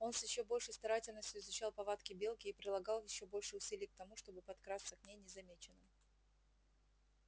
он с ещё большей старательностью изучал повадки белки и прилагал ещё больше усилий к тому чтобы подкрасться к ней незамеченным